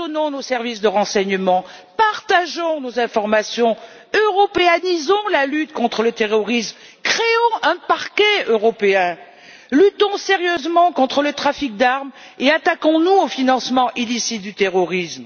Décloisonnons nos services de renseignement, partageons nos informations, européanisons la lutte contre le terrorisme, créons un parquet européen, luttons sérieusement contre le trafic d'armes et attaquons nous au financement illicite du terrorisme.